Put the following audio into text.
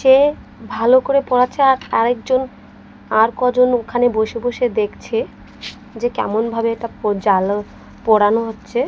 সে ভালো করে পড়াচ্ছে আর আরেকজন আর কজন ওখানে বসে বসে দেখছে যে কেমন ভাবে এটা পো জালো পড়ানো হচ্ছে।